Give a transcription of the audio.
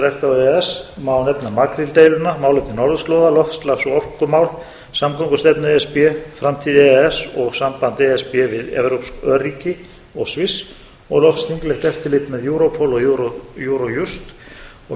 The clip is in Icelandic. e e s má nefna makríldeiluna málefni norðurslóða loftslags og orkumál samgöngustefnu e s b framtíð e e s og samband e s b við evrópsk örríki og sviss og loks þinglegt eftirlit með europol og eurojust og mikilvægi